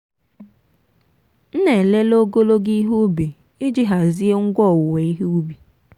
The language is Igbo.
m na-elele ogologo ihe ubi iji hazie ngwa owuwe ihe ubi.